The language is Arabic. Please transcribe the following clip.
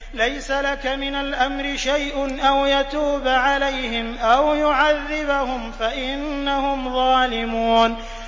لَيْسَ لَكَ مِنَ الْأَمْرِ شَيْءٌ أَوْ يَتُوبَ عَلَيْهِمْ أَوْ يُعَذِّبَهُمْ فَإِنَّهُمْ ظَالِمُونَ